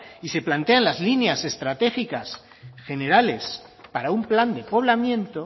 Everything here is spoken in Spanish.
y se plantean las líneas estratégicas generales para un plan de poblamiento